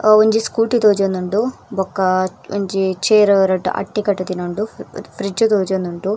ಅ ಒಂಜಿ ಸ್ಕೂಟಿ ತೋಜೊಂದುಂಡು ಬೊಕ ಒಂಜಿ ಚೇರ್ ರಡ್ಡ್ ಅಟ್ಟಿ ಕಟಿದಿನ ಉಂಡು ಫ್ರಿಡ್ಜ್ ತೋಜೊಂದುಂಡು.